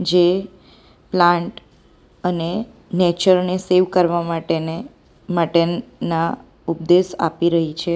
જે પ્લાન્ટ અને નેચરલ ને સેવ કરવા માટેને માટેના ઉપદેશ આપી રહી છે.